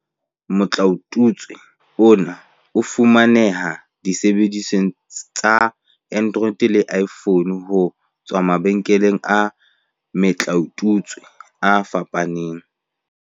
Motlaotutswe ona o fumaneha disebedisweng tsa Android le iPhone, ho tswa mabenkeleng a metlaotutswe a fapaneng.